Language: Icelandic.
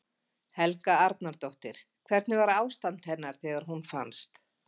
Helga Arnardóttir: Hvernig var ástand hennar þegar hún fannst?